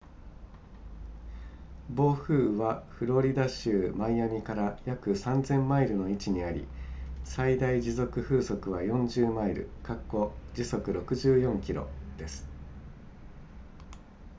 暴風雨はフロリダ州マイアミから約 3,000 マイルの位置にあり最大持続風速は40マイル時速64キロです